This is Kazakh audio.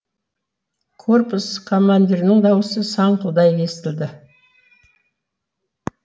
корпус командирінің даусы саңқылдай естілді